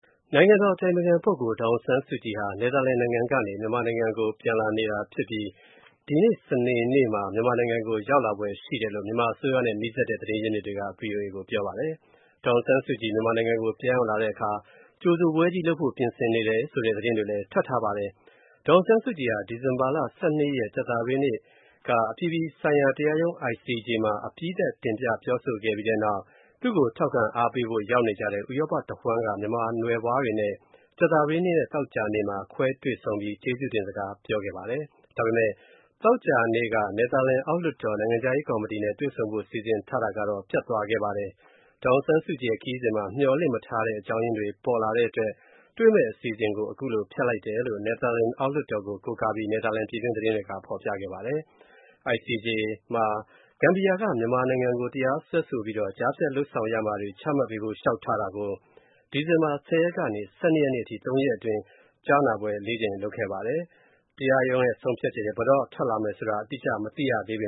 နိုင်ငံတော်အတိုင်ပင်ခံပုဂ္ဂိုလ် ဒေါ်အောင်ဆန်းစုကြည်ဟာ နယ်သာလန်နိုင်ငံကနေ မြန်မာနိုင်ငံကို ပြန်လာနေပြီဖြစ်ပြီး ဒီကနေ့ စနေနေ့မှာ မြန်မာနိုင်ငံကို ပြန်ရောက်လာဖွယ်ရှိတယ်လို့ မြန်မာအစိုးရနဲ့ နီးစပ်တဲ့ သတင်းရင်းမြစ်တွေက ဗွီအိုအေကို ပြောပါ တယ်။ ဒေါ်အောင်ဆန်းစုကြည် မြန်မာနိုင်ငံကို ပြန်ရောက်လာတဲ့အခါ ကြိုဆိုပွဲကြီးလုပ်ဖို့ ပြင်ဆင်နေတယ် ဆိုတဲ့ သတင်းတွေလည်း ထွက်ထားပါတယ်။ ဒေါ်အောင်ဆန်းစုကြည်ဟာ ဒီဇင်ဘာလ ၁၂ ရက် ကြာသပတေးနေ့က အပြည်ပြည်ဆိုင်ရာတရားရုံး (ICJ) မှာ အပြီးသတ် တင်ပြပြောကြားပြီးတဲ့နောက် သူ့ကို ထောက်ခံအားပေးဖို့ ရောက်နေကြတဲ့ ဥရောပတဝန်းက မြန်မာနွယ်ဖွားတွေနဲ့ ကြာသပတေး နေ့နဲ့ သောကြာနေ့တွေမှာ ခွဲတွေ့ဆုံပြီး ကျေးဇူးတင်စကားပြောပါတယ်။ ဒါပေမယ့် သောကြာနေ့က နယ်သာလန်အောက်လွှတ်တော်၊ နိုင်ငံခြားရေးကော်မတီနဲ့ တွေ့ဆုံဖို့ စီစဉ်ထားတာကတော့ ပျက်သွား ပါတယ်။ ဒေါ်အောင်ဆန်းစုကြည်ရဲ့ ခရီးစဉ်မှာ မျှော်လင့်မထားတဲ့ အကြောင်းရင်းတွေ ပေါ်လာတဲ့အတွက် တွေ့မယ့်အစီအစဉ်ကို ဖျက်လိုက်တယ်လို့ နယ်သာလန် အောက်လွှတ်တော်ကို ကိုးကားပြီး နယ်သာလန် ပြည်တွင်းသတင်းတွေက ဖော်ပြပါတယ်။ ICJ မှာ ဂမ်ဘီယာက မြန်မာနိုင်ငံကို တရားစွဲဆိုပြီးတော့ ကြားဖြတ် လုပ်ဆောင်ရမှာတွေ ချမှတ်ပေးဖို့ လျှောက်ထားတာကို ဒီဇင်ဘာလ ၁၀ ရက်နေ့ကနေ ၁၂ ရက်နေ့အထိ သုံးရက်အတွင်း ကြားနာပွဲ ၄ ကြိမ် လုပ်ခဲ့ပါတယ်။ တရားရုံးရဲ့ ဆုံးဖြတ်ချက် ဘယ်တော့ထွက်လာမယ်ဆိုတာကိုတော့ အတိအကျ မသိရသေးပ